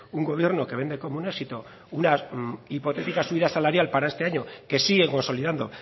un gobierno que vende como un éxito una hipotética subida salarial para este año que sigue consolidando